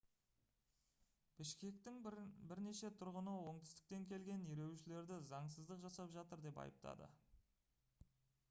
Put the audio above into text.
бішкектің бірнеше тұрғыны оңтүстіктен келген ереуілшілерді заңсыздық жасап жатыр деп айыптады